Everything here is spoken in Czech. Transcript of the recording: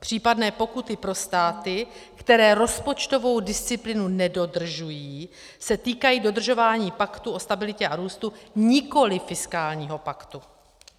Případné pokuty pro státy, které rozpočtovou disciplínu nedodržují, se týkají dodržování Paktu o stabilitě a růstu, nikoli fiskálního paktu.